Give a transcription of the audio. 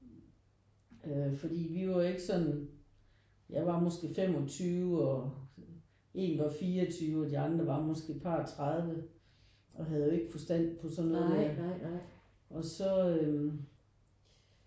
Øh fordi vi var ikke sådan jeg var måske 25 og en var 24 og de andre var måske et par 30 og havde jo ikke forstand på sådan noget der og så øh